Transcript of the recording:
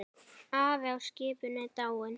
Afi á skipinu er dáinn.